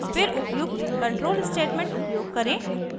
फिर उपयुक्त controlstatement उपयोग करें